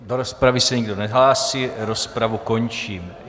Do rozpravy se nikdo nehlásí, rozpravu končím.